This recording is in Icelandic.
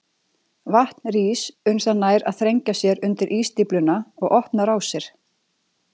Vatn rís uns það nær að þrengja sér undir ísstífluna og opna rásir.